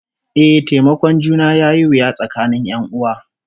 Eh, taimakon juna yayi wuya tsakanin 'yan'uwa